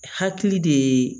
Hakili de